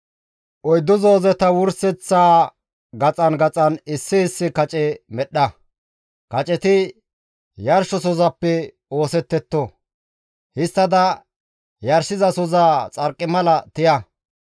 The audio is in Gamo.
Oyddu zoozeta wurseththa gaxan gaxan issi issi kace medhdha; kaceti yarshosozappe oosettetto. Histtada yarshizasoza xarqimala tiya.